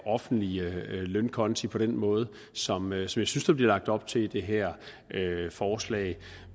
offentlige lønkonti på den måde som jeg synes der bliver lagt op til i det her forslag